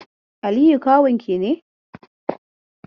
Aliyu kawun ki ne?